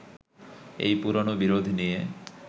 এই পুরোনো বিরোধ নিয়ে